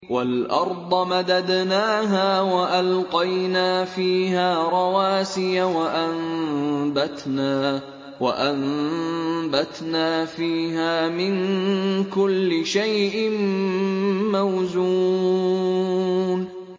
وَالْأَرْضَ مَدَدْنَاهَا وَأَلْقَيْنَا فِيهَا رَوَاسِيَ وَأَنبَتْنَا فِيهَا مِن كُلِّ شَيْءٍ مَّوْزُونٍ